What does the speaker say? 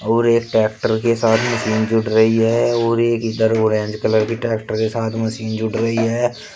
और एक ट्रैक्टर के साथ मशीन जुड़ रही है और एक इधर ऑरेंज कलर की ट्रैक्टर के साथ मशीन जुड़ रही है।